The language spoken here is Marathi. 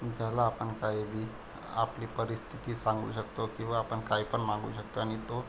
ज्याला आपण काय बी आपली परिस्थिति सांगू शकतो किंवा आपण कायपन मागू शकतो आणि तो --